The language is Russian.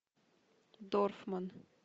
дорфман